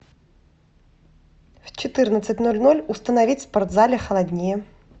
в четырнадцать ноль ноль установить в спортзале холоднее